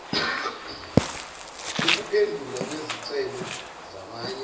ukuphendulwa kwezicelo zamanye